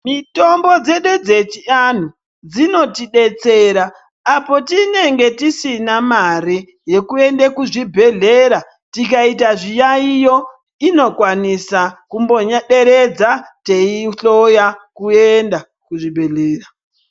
Mitombo dzedu dzechiantu dzinotidetsera apo tinenge tisina mare yekuende kuzvibhedhleya tikaita zviyaiyo inokwanisa kumboderedza teihloya kuenda kuzvibhedhleya.